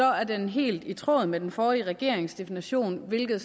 er den helt i tråd med den forrige regerings definition hvilket